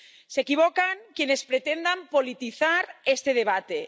Se equivocan quienes pretendan politizar este debate.